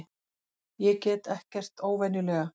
Ég get ekkert óvenjulega.